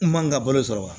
N man n ka balo sɔrɔ wa